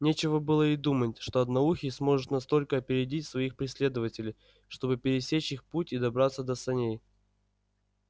нечего было и думать что одноухий сможет настолько опередить своих преследователей чтобы пересечь их путь и добраться до саней